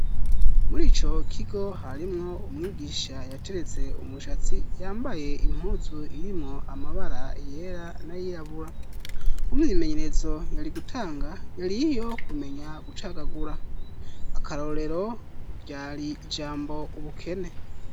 Muri ico kigo harimwo umwigisha yateretse umushatsi, yambaye impuzu irimwo amabara yera nay'irabura. Imyimenyerezo yari gutanga yari iyo kumenya gucagagura. Akarorero ryari ijambo ubukene.